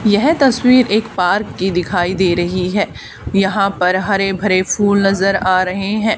येह तस्वीर एक पार्क की दिखाई दे रही है यहां पर हरे भरे फूल नजर आ रहे हैं।